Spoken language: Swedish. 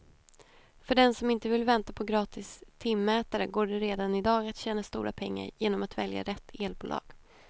För den som inte vill vänta på gratis timmätare går det redan i dag att tjäna stora pengar genom att välja rätt elbolag.